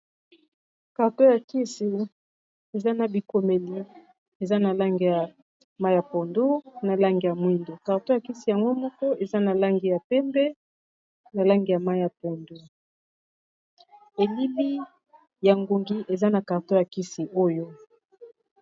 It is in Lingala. carton ya kisi eza na bikomeli eza na langi ya mayi ya pondu, na langi ya mwindo, carton ya kisi yango moko eza na langi ya pembe ,na langi ya mayi ya pondo elili ya ngungi eza na carton ya kisi oyo.